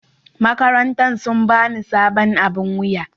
makarantan sun ba ni sabon aɓin wuya.